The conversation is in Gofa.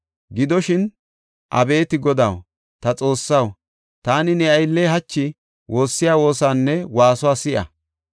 Gidoshin, abeeti Godaw, ta Xoossaw, taani ne aylley hachi woossiya woosanne waasuwa si7a.